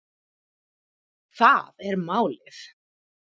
Það er málið